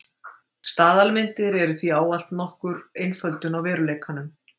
Staðalmyndir eru því ávallt nokkur einföldun á veruleikanum.